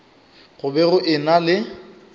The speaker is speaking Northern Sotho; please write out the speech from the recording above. go be go ena le